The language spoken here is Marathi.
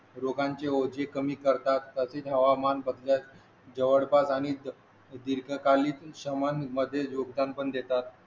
रोगांचे ओझे कमी करतात जवळपास आणि दीर्घकालीन समान मध्ये योगदान पण देतात